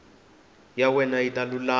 ya wena yi ta lulama